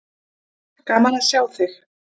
Gaman að sjá þig.